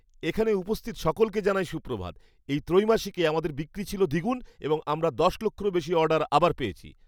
এখানে উপস্থিত সকলকে জানাই সুপ্রভাত। এই ত্রৈমাসিকে আমাদের বিক্রি ছিল দ্বিগুণ এবং আমরা দশ লক্ষেরও বেশি অর্ডার আবার পেয়েছি।